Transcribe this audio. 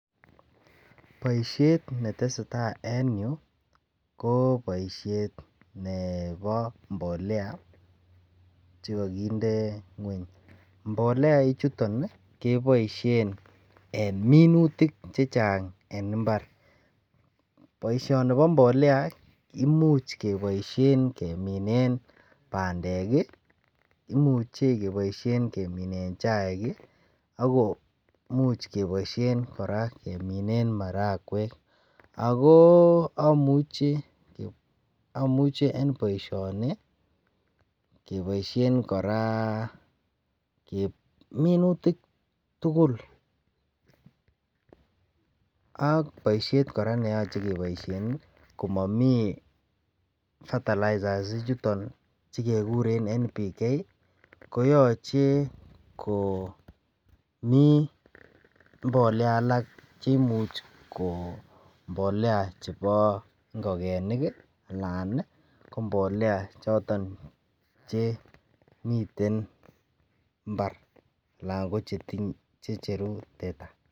Boisiet neteseta en yu ko boisiet nebo mbolea che kakinde ngweny. Mbolea ichuton kekoisien en minutik chechang en imbar. Boisionibo mbolea imuch keboisien keminen bandek, imuche keboisien keminen chaik agoimuch koboisien kora keminen marakwek. Ago amuche en boisioni keboisien kora enminutik tugul. Ak boisiet kora neyoche keboisien komami fertilizers ichuton chekekuren N:P:K, koyache komi mbolea alak chemuch ko mbolea chebo ingogenik anan ii ko mbolea choto miten mbar anan ko checheru teta.